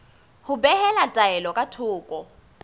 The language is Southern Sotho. ho behela taelo ka thoko